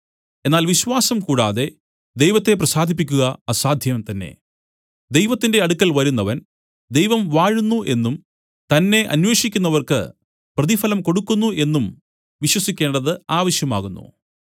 എന്നാൽ വിശ്വാസം കൂടാതെ ദൈവത്തെ പ്രസാദിപ്പിക്കുക അസാധ്യം തന്നെ ദൈവത്തിന്റെ അടുക്കൽ വരുന്നവൻ ദൈവം വാഴുന്നു എന്നും തന്നെ അന്വേഷിക്കുന്നവർക്ക് പ്രതിഫലം കൊടുക്കുന്നു എന്നും വിശ്വസിക്കേണ്ടത് ആവശ്യമാകുന്നു